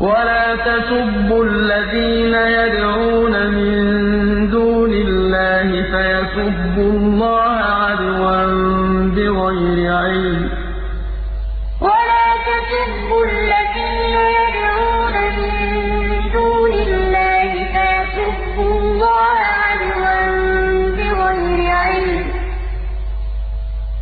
وَلَا تَسُبُّوا الَّذِينَ يَدْعُونَ مِن دُونِ اللَّهِ فَيَسُبُّوا اللَّهَ عَدْوًا بِغَيْرِ عِلْمٍ ۗ